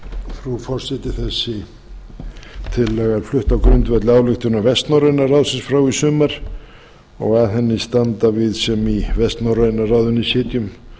frú forseti þessi tillaga er flutt á grundvelli ályktunar vestnorræna ráðsins frá í sumar og að henni standa við sem í vestnorræna ráðinu sitjum